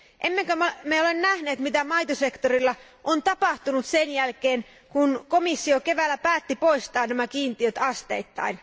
Emmekö ole nähneet mitä maitosektorilla on tapahtunut sen jälkeen, kun komissio keväällä päätti poistaa nämä kiintiöt asteittain?